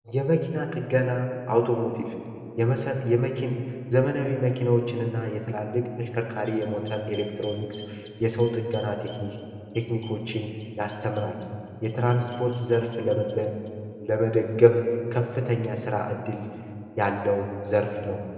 የመኪና ጥገና አውቶሞቲቭ የዘመናዊ መኪናዎችን ና የተላልቅ ተሽከርካሪ የሞተር ኤሌክትሮኒክስ የሰው ጥገና ቴክኒኮችን ያስተምራል የትራንስፖርት ዘርፍ ለመደገፍ ከፍተኛ ሥራ እድል ያለው ዘርፍ ነው፡፡